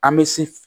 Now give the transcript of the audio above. An bɛ se